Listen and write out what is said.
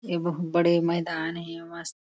ए बहुत बड़े मैदान हे मस्त --